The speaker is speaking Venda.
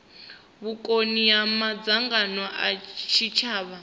vhukoni ha madzangano a tshitshavha